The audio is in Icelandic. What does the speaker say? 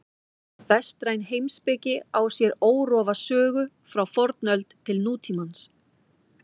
Vestræn heimspeki á sér órofa sögu frá fornöld til nútímans.